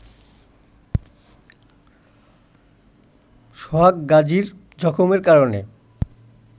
সোহাগ গাজির জখমের কারণে